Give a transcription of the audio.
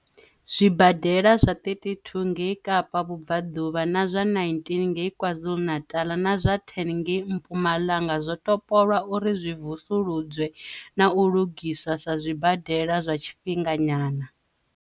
zwibadela zwa 32 ngei Kapa Vhubvaḓuvha, zwa 19 ngei Kwazulu-Natal na zwa 10 ngei Mpumalanga zwo topolwa uri zwi vusuludzwe na u lugiswa sa zwibadela zwa tshifhinga nyana.